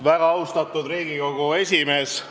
Väga austatud Riigikogu esimees!